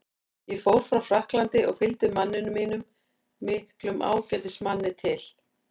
Ég fór frá Frakklandi og fylgdi manninum mínum, miklum ágætismanni, til